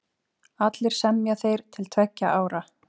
Allir semja þeir til tveggja ára.